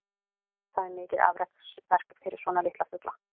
Það er mikið afreksverk fyrir svona litla fugla.